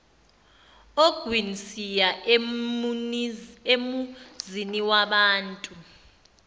ogwini siya emuziniwabantu